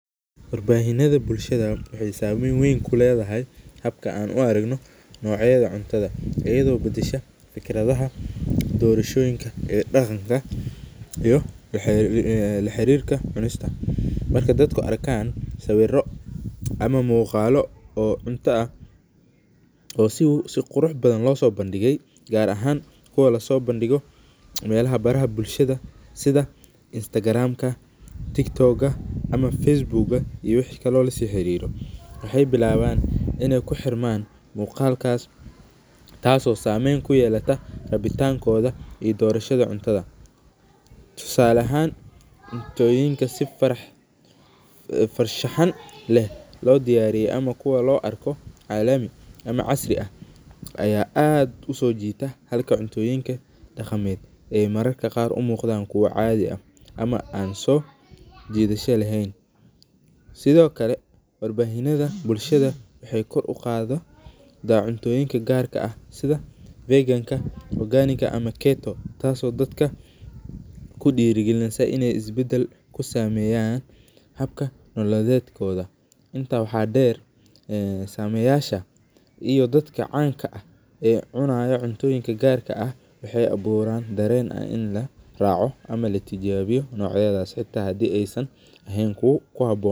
Warbanida bulshada waxay sameyn weyn kuledahay habka aan uarakno nocyada cuntada , iyado badasha fikradaha doradhoyinka ee daganka iyo laharirka cunista, marka dadku arka sawiro ama mugaalo oo cunta ah oo si qirux badan losabandigay gaar aha kuwa melaha baraha bulshada sida instagram , tiktok ama Facebook iyo wixi kalo lasihariro, waxay biabalaan inay kuhirman mugaalkas taas oo sameyn kuyelata rabitankoda iyo dorashada cuntada, tusale ahan cuntoyinka si farshahan leh lodiyariyo ama kuwa loarko calami ama casri ah aya aad usojitaa halka cuntoyinka dagamed ay mararka gaar umugdan kuwa cadhi ah ama aan sojidadha lehen Sidhokale war bahinada bulshada waxay kor ugado cuntoyinka gaarka ah sidha viganka ama oganika taas oo dadka kudirigalineyso inay dadka isbadal kusameyan habka nolaledkoda inta wax deer sameyasha iyo tdadka caanka ah ee cunayo cuntoyinka gaarka ah waxay aburaan daren in araco ama latijabiyo nicyadas hata hadhii aysan ahay kuwa kuhaboon.